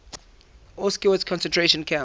auschwitz concentration camp